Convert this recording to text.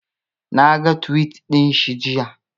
Naga tuwit ɗinshi jiya